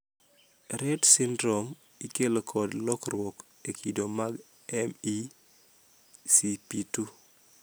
Rett syndrome ikelo kod lokruok e kido mag MECP2.